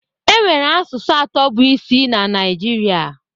Enwere asụsụ atọ bụ isi na Naijiria.